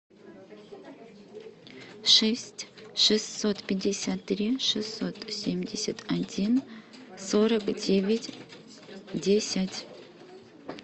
шесть шестьсот пятьдесят три шестьсот семьдесят один сорок девять десять